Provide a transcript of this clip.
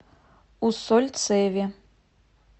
усольцеве